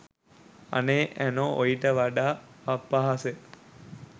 අනේ ඇනෝ ඔයිට වඩා අපහාස